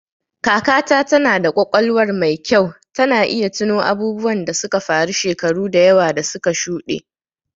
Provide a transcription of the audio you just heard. Kakata tana da ƙwaƙwalwar mai kyau, tana iya tuno abubuwan da suka faru shekaru da yawa da suka shuɗe.